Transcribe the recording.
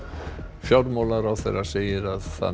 fjármálaráðherra segir að það megi